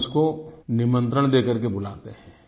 हम उसको निमंत्रण देकर के बुलाते हैं